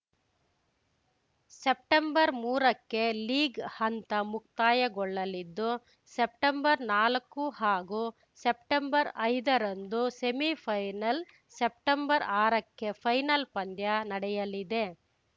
ಸೆಪ್ಟೆಂಬರ್ಮೂರಕ್ಕೆ league ಹಂತ ಮುಕ್ತಾಯಗೊಳ್ಳಲಿದ್ದು ಸೆಪ್ಟೆಂಬರ್ನಾಲಕ್ಕು ಹಾಗೂ ಸೆಪ್ಟೆಂಬರ್ಐದರಂದು ಸೆಮಿಫೈನಲ್ ಸೆಪ್ಟೆಂಬರ್ಆರಕ್ಕೆ ಫೈನಲ್‌ ಪಂದ್ಯ ನಡೆಯಲಿದೆ